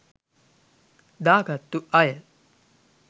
දා ගත්තු අය.